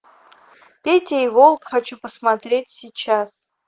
петя и волк хочу посмотреть сейчас